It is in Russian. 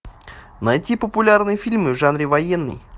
найти популярные фильмы в жанре военный